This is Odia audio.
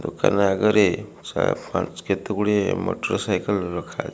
ଦୋକାନ ଆଗରେ କେତେ ଗୁଡିଏ ମୋଟରସାଇକେଲ ରଖା --